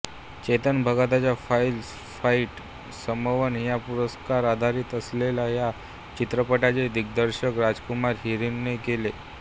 चेतन भगतच्या Five Point Someone ह्या पुस्तकावर आधारित असलेल्या ह्या चित्रपटाचे दिग्दर्शन राजकुमार हिरानीने केले